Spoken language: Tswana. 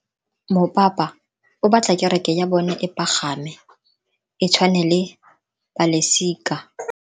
Mopapa o batla kereke ya bone e pagame, e tshwane le paselika.